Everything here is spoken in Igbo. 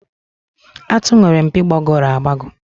Àtụ̀ nwere mpi gbagọrọ agbagọ.